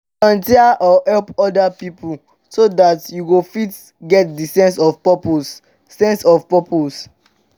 volunteer or help oda pipo so dat you go fit get di sense of purpose sense of purpose